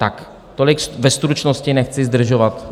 Tak tolik ve stručnosti, nechci zdržovat.